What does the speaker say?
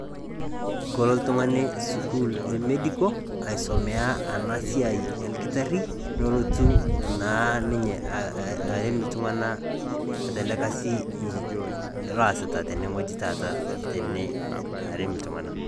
Kelo oltung'ani sukuul emedical aitumiya ena siai olkitarri nelotu naa ninye arem iltung'anak tele Kasi loosita tene wueji taata arem iltung'anak.